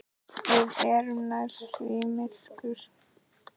Við erum nærri því myrkur